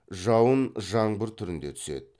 жауын жаңбыр түрінде түседі